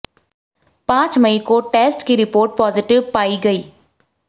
पांच मई को टेस्ट की रिपोर्ट पॉजिटिव पाई गई